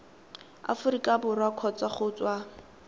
aforika borwa kgotsa go tswa